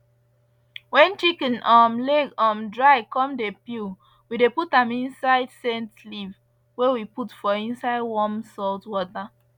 wen chicken um leg um dry come dey peel we dey put am inside scent leaf wey we put for inside warm salt water